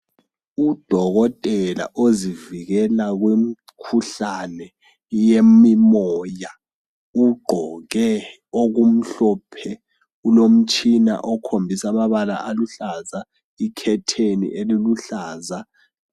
Udokotela ozivikela kumkhuhlane yemimoya. Ugqoke okumhlophe. Kulomtshina okhombisa amabala aluhlaza, ikhetheni eliluhlaza.